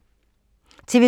TV 2